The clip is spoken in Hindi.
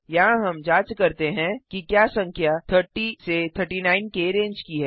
यहाँ हम जांच करते हैं कि क्या संख्या 30 39 के रेंज की है